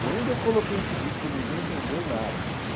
Quando eu coloquei esse disco, ninguém entendeu nada, cara.